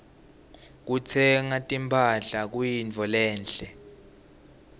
kutsenga timphahla kuyintfo lenhle